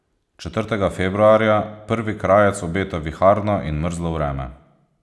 Četrtega februarja prvi krajec obeta viharno in mrzlo vreme.